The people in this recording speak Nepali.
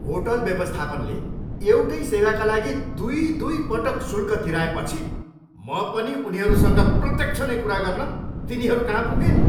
होटल व्यवस्थापनले एउटै सेवाका लागि दुई दुईपटक शुल्क तिराएपछि म पनि उनीहरूसँग प्रत्यक्ष नै कुरा गर्न तिनीहरूकहाँ पुगेँ नि।